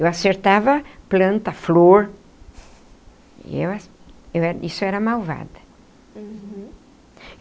Eu acertava planta, flor... eu era eu isso era malvada. Uhum.